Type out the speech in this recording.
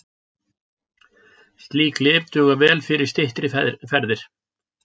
Slík lyf duga vel fyrir styttri ferðir.